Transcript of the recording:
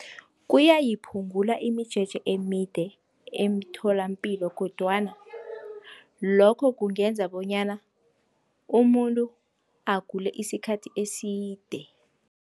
Kuyayiphungula imijeje emide emtholapilo, kodwana lokho kungenza bonyana umuntu agule isikhathi eside.